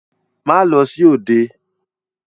Má lọ sí òde!